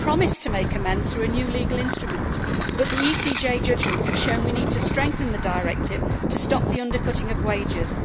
You promised to make amends through a new legal instrument, but the ECJ judgments have shown we need to strengthen the directive to stop the undercutting of wages.